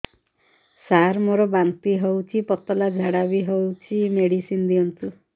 ସାର ମୋର ବାନ୍ତି ହଉଚି ପତଲା ଝାଡା ବି ହଉଚି ମେଡିସିନ ଦିଅନ୍ତୁ